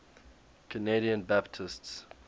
canadian baptists